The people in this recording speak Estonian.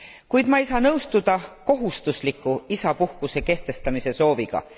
Kuid ma ei saa nõustuda kohustusliku isapuhkuse kehtestamise sooviga.